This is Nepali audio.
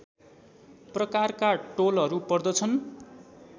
प्रकारका टोलहरू पर्दछन्